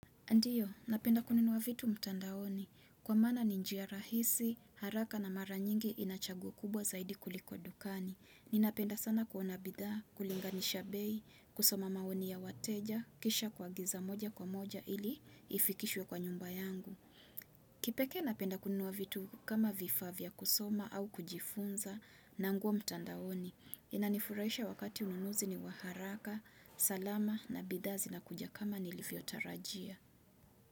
Ndiyo, napenda kununuwa vitu mtandaoni. Kwa maana ni njia rahisi, haraka na mara nyingi inachaguo kubwa zaidi kuliko dukani. Ninapenda sana kuona bidha, kulinga nishabei, kusoma maoni ya wateja, kisha kuagiza moja kwa moja ili ifikishwe kwa nyumba yangu. Kipeke napenda kununuwa vitu kama vifaa vya kusoma au kujifunza na nguo mtandaoni. Inanifurahisha wakati ununuzi ni waharaka, salama na bidha zinakuja kama nilivyo tarajia.